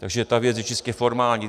Takže ta věc je čistě formální.